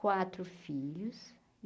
Quatro filhos.